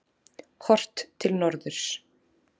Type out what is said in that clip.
Horft til norðurs.